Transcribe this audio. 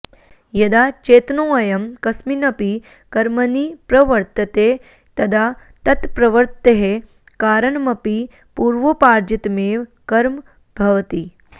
यदा चेतनोऽयं कस्मिन्नपि कर्मणि प्रवर्तते तदा तत्प्रवृत्तेः कारणमपि पूर्वोपार्जितमेव कर्म भवति